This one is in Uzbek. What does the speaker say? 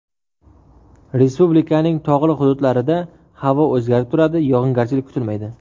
Respublikaning tog‘li hududlarida havo o‘zgarib turadi, yog‘ingarchilik kutilmaydi.